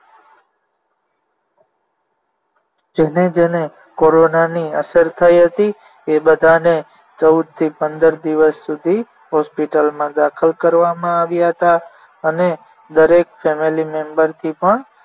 જેને જેને કોરોનાની અસર થઈ હતી એ બધાને ચૌદ થી પંદર દિવસ સુધી hospital માં દાખલ કરવામાં આવ્યા હતા અને દરેક family member થી પણ